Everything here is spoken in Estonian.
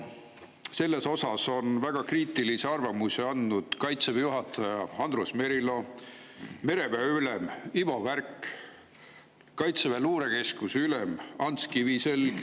Selle kohta on väga kriitilise arvamuse andnud Kaitseväe juhataja Andrus Merilo, mereväe ülem Ivo Värk ja Kaitseväe luurekeskuse ülem Ants Kiviselg.